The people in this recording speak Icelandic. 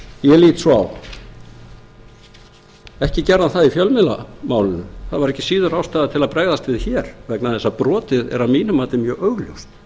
ég lít svo á ekki gerði hann það í fjölmiðlamálinu það var ekki síður ástæða til að bregðast við hér vegna þess að brotið er að mínu mati mjög augljóst